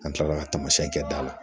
An kilala ka tamasiɛn kɛ da la